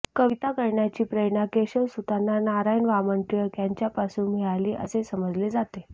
कविता करण्याची प्रेरणा केशवसुतांना नारायण वामन टिळक यांच्यापासून मिळाली असे समजले जाते